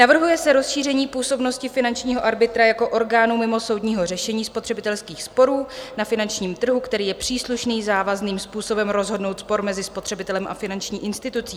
Navrhuje se rozšíření působnosti finančního arbitra jako orgánu mimosoudního řešení spotřebitelských sporů na finančním trhu, který je příslušný závazným způsobem rozhodnout spor mezi spotřebitelem a finanční institucí.